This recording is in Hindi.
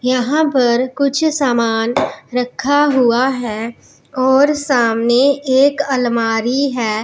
यहां पर कुछ सामान रखा हुआ है और सामने एक अलमारी है।